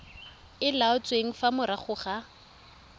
e laotsweng fa morago ga